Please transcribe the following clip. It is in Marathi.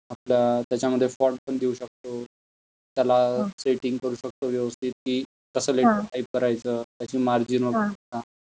आपला त्याच्यामध्ये फोंट पण देऊ शकतो. त्याला सेटिंग करू शकतो व्यवस्थित की कसं लेटर टाइप करायचं त्याची मार्जिन वगळता.